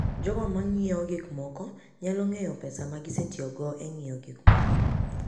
Jogo ma ng'iewo gik moko nyalo ng'eyo pesa ma gisetiyogo e ng'iewo gik moko.